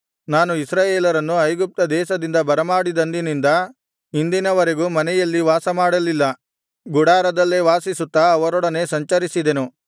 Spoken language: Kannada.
ನಾನು ಇಸ್ರಾಯೇಲರನ್ನು ಐಗುಪ್ತ ದೇಶದಿಂದ ಬರಮಾಡಿದಂದಿನಿಂದ ಇಂದಿನ ವರೆಗೂ ಮನೆಯಲ್ಲಿ ವಾಸಮಾಡಲಿಲ್ಲ ಗುಡಾರದಲ್ಲೇ ವಾಸಿಸುತ್ತಾ ಅವರೊಡನೆ ಸಂಚರಿಸಿದೆನು